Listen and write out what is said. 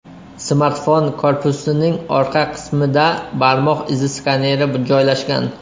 Smartfon korpusining orqa qismida barmoq izi skaneri joylashgan.